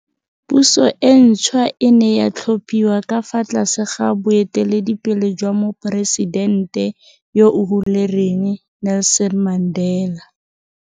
Puso e ntšhwa e ne ya tlhophiwa ka fa tlase ga boe teledipele jwa Moporesidente yo o hulereng Nelson Mandela.